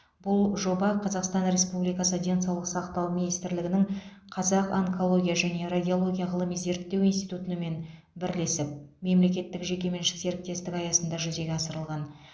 бұл жоба қазақстан республикасы денсаулық сақтау министрлігінің қазақ онкология және радиология ғылыми зерттеу институтымен бірлесіп мемлекеттік жеке меншік серіктестік аясында жүзеге асырылған